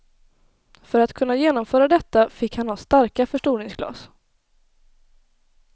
För att kunna genomföra detta fick han ha starka förstoringsglas.